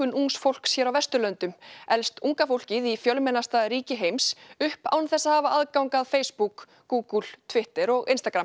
ungs fólks hér á Vesturlöndum elst unga fólkið í fjölmennasta ríki heims upp án þess að hafa aðgang að Facebook Google Twitter og